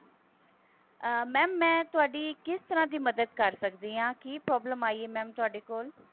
ਅਹ mam ਮੈਂ ਤੁਹਾਡੀ ਕਿਸ ਤਰ੍ਹਾਂ ਦੀ ਮਦਦ ਕਰ ਸਕਦੀ ਹਾਂ ਕੀ problem ਆਈ ਹੈ mam ਤੁਹਾਡੇ ਕੋਲ